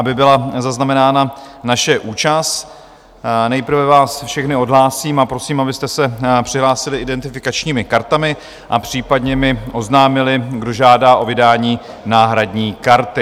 Aby byla zaznamenána naše účast, nejprve vás všechny odhlásím a prosím, abyste se přihlásili identifikačními kartami a případně mi oznámili, kdo žádá o vydání náhradní karty.